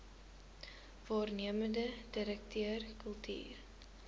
waarnemende direkteur kultuur